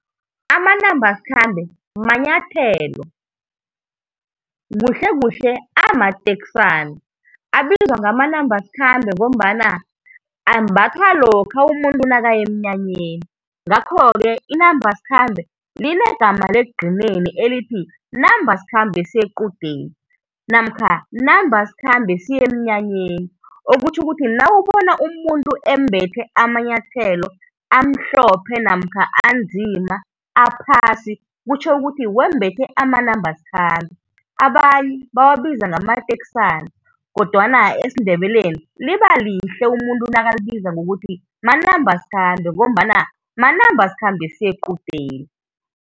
Amanamba sikhambe manyathelo, kuhle-kuhle amateksana, abizwa ngamanamba sikhambe ngombana ambathawa lokha umuntu nakaya emnyanyeni. Nghakho-ke inamba sikhambe linegama lekugcineni elithi namba sikhambe siye equdeni, namkha namba sikhambe siye emnyanyeni, okutjho ukuthi nawubona umuntu embethe amanyathelo anzima namkha amhlophe, aphasi kutjho ukuthi wembethe amanamba sikhambe. Abanye bawabiza ngamateksana kodwana esiNdebeleni liba lihle umuntu nakalibiza ngamanamba sikhambe, ngombana manamba sikhambe siye equdeni.